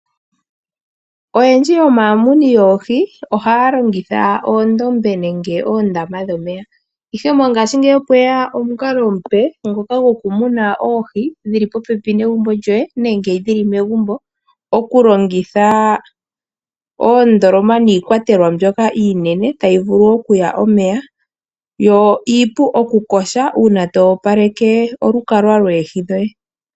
Oyendji yomamuni yoohi ohaya longitha oondombe nenge oondama dhomeya, ihe mongaashi ngeyi opweya omukalo omupe ngoka gwokumuna oohi dhili popepi negumbo djoye nenge dhili megumbo, okulongitha oondoloma niikwatelwa mbyoka iinene tayi vulu okuya omeya yo iipu okukoha uuna towapaleke olukalwa lweehi dhoye.